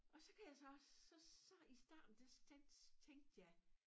Og så kan jeg så så så i starten der der tænkte tænkte jeg